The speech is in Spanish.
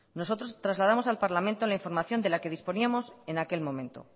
nosotros trasladamos al parlamento la información de la que disponíamos en aquel momento